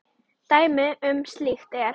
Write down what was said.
Dæmi um slíkt er